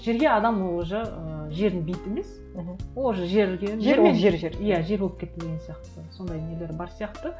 жерге адам ол уже ыыы жердің бейіті емес мхм ол уже жерге жермен жер иә жер болып кетті деген сияқты сондай нелер бар сияқты